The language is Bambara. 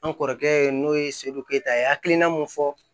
An kɔrɔkɛ n'o ye ke a ye hakilina mun fɔ